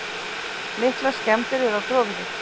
Miklar skemmdir eru á gróðri.